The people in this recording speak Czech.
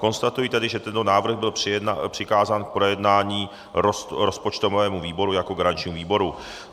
Konstatuji tedy, že tento návrh byl přikázán k projednání rozpočtovému výboru jako garančnímu výboru.